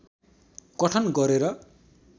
गठन गरेर